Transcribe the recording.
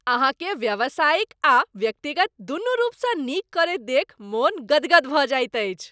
अहाँकें व्यावसायिक आ व्यक्तिगत दुनू रूपसँ नीक करैत देखि मन गदगद भऽ जाइत अछि।